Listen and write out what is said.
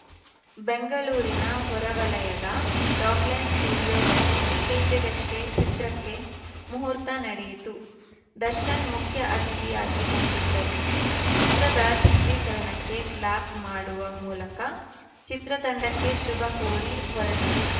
ಬೆಂಗಳೂರಿನ ಹೊರವಲಯದ ರಾಕ್‌ಲೈನ್‌ ಸ್ಟುಡಿಯೋದಲ್ಲಿ ಇತ್ತೀಚೆಗಷ್ಟೇ ಚಿತ್ರಕ್ಕೆ ಮುಹೂರ್ತ ನಡೆಯಿತು ದರ್ಶನ್‌ ಮುಖ್ಯ ಅತಿಥಿಯಾಗಿ ಬಂದಿದ್ದರು ಚಿತ್ರದ ಚಿತ್ರೀಕರಣಕ್ಕೆ ಕ್ಲಾಪ್‌ ಮಾಡುವ ಮೂಲಕ ಚಿತ್ರತಂಡಕ್ಕೆ ಶುಭ ಕೋರಿ ಹೊರಟರು